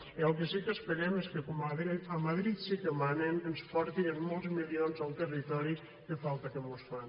i el que sí que esperem és que com a madrid sí que manen ens porten molts milions al territori que falta que mos fan